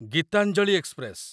Gitanjali express